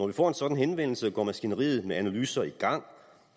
vi får en sådan henvendelse går maskineriet med analyser i gang